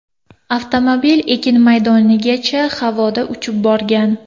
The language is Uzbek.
Avtomobil ekin maydonigacha havoda uchib borgan.